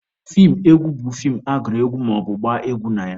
Feem egwu bụ feem agụrụ egwu maọbụ gbaa egwu na ya.